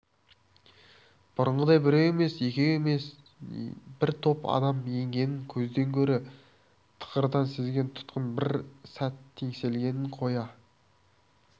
бұрынғыдай біреу емес екеу емес бір топ адам енгенін көзден гөрі тықырдан сезген тұтқын бір сәт теңселгенін қоя